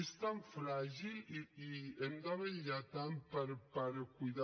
és tan fràgil i hem de vetllar tant per cuidar